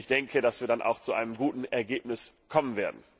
Ich denke, dass wir dann auch zu einem guten Ergebnis kommen werden.